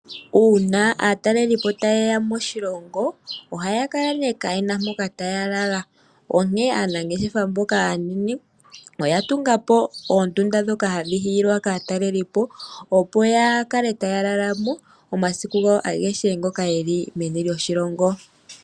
Uuna aatalelipo ta yeya moshilongo, ohaya kala nee kaayena mpoka taya lala. Onkene aanangeshefa mboka aanene, oya tungapo oondunda ndhoka hadhi hiilwa kaatalelipo, opo ya kale taya lala mo omasiku gawo agehe ngoka yeli meni lyoshilongo.